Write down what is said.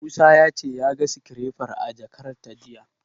Musa ya ce ya ga sikirefar a jakata jiya.